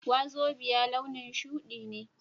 Wazobia launin shudi ne